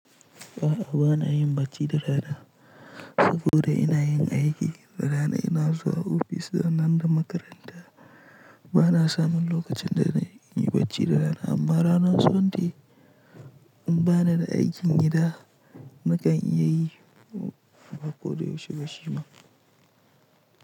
A'a bana yin bacci da rana saboda ina yin aiki. Da rana ina zuwa ofis sannan da makaranta. Bana samun lokacin da na yin bacci da rana amma ranar Sunday in bana da aikin gida na kan iya yi ko da yaushe bashi ma.